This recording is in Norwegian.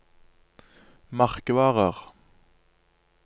merkevarer